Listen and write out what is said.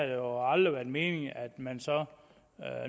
det aldrig været meningen at man så